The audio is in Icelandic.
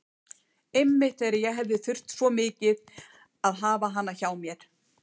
Einmitt þegar ég hefði þurft svo mikið að hafa hana hjá mér.